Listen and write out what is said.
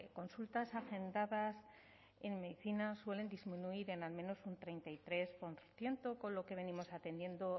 consultas hacendadas en medicina suelen disminuir en al menos un treinta y tres por ciento con lo que venimos atendiendo